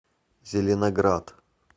зеленоград